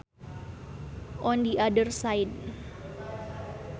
On the other side